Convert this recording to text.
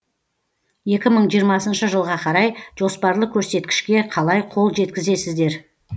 екі мың жиырмасыншы жылға қарай жоспарлы көрсеткішке қалай қол жеткізесіздер